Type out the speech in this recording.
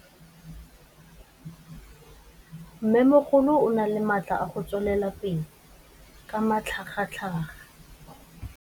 Mmêmogolo o na le matla a go tswelela pele ka matlhagatlhaga.